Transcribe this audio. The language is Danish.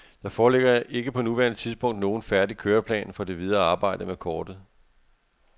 Der foreligger ikke på nuværende tidspunkt nogen færdig køreplan for det videre arbejde med kortet.